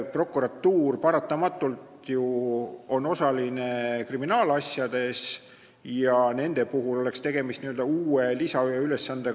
Prokuratuur on ju paratamatult kriminaalasjades osaline, nendele oleks see uus lisaülesanne.